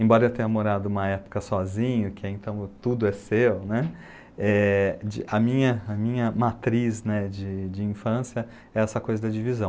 Embora eu tenha morado uma época sozinho, que então tudo é seu, né, é... a minha, a minha matriz de infância é essa coisa da divisão.